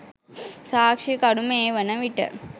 සාක්‍ෂිකරු මේ වනවිට